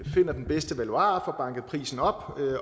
finder den bedste valuar og prisen op